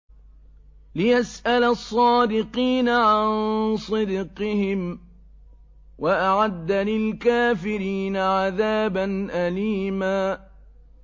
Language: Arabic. لِّيَسْأَلَ الصَّادِقِينَ عَن صِدْقِهِمْ ۚ وَأَعَدَّ لِلْكَافِرِينَ عَذَابًا أَلِيمًا